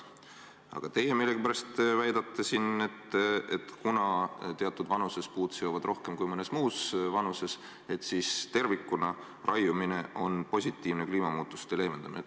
Aga teie millegipärast väidate, et kuna teatud vanuses seovad puud süsinikku rohkem kui mõnes muus vanuses, siis raiumine tervikuna avaldab kliimamuutuste leevendamisele positiivset mõju.